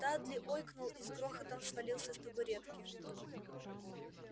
дадли ойкнул и с грохотом свалился с табуретки